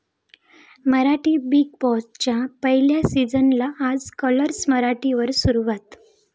Marathi 'big बॉस'च्या पहिल्या सीझनला आज 'कलर्स मराठी' वर सुरवात